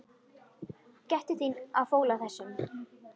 Gættu þín á fóla þessum.